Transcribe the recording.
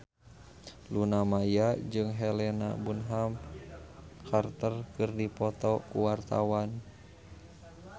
Luna Maya jeung Helena Bonham Carter keur dipoto ku wartawan